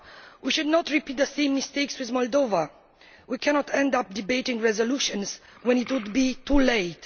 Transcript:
We should not repeat the same mistakes with Moldova. We cannot end up debating resolutions when it is too late.